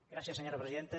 gràcies senyora presidenta